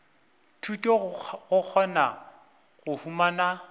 thuto go kgona go humana